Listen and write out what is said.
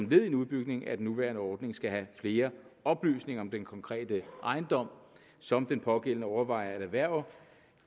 ved en udbygning af den nuværende ordning skal have flere oplysninger om den konkrete ejendom som den pågældende overvejer at erhverve